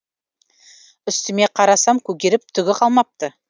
үстіме қарасам көгеріп түгі қалмапты